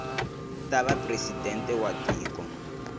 ta va presidente wa tiko